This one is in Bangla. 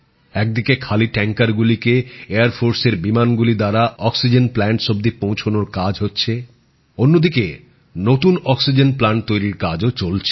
এক দিকে খালি ট্যাংকারগুলিকে বিমান বাহিনীর বিমানগুলি অক্সিজেন প্লান্টস অব্দি পৌঁছে দিচ্ছে অন্য দিকে নতুন অক্সিজেন প্লান্ট তৈরির কাজও চলছে